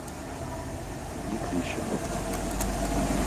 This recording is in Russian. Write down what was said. мытищах